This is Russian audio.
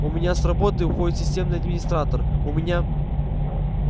у меня с работы уходит системный администратор у меня